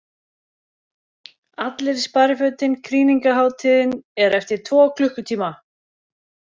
ALLIR Í SPARIFÖTIN KRÝNINGARHÁTÍÐIN ER EFTIR TVO KLUKKUTÍMA!